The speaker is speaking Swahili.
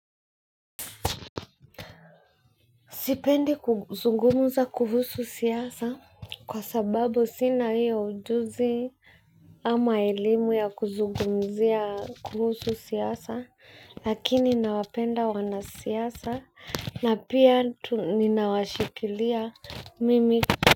Sipendi kuzugumza kuhusu siasa kwa sababu sina hiyo ujuzi ama elimu ya kuzungumzia kuhusu siasa lakini nawapenda wanasiasa na pia ninawashikilia mimi.